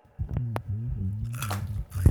Ore mashinini sidai nitobiraa isaaiii